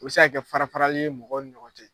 O bɛ se ka kɛ fara farali ye mɔgɔw ni ɲɔgɔn cɛ.